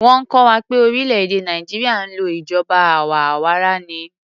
Wọ́n kọ́ wa pé orílè-èdè Nàìjíríà ń lò ìjọba àwa arawa ni.